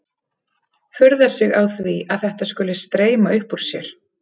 Furðar sig á því að þetta skuli streyma upp úr sér.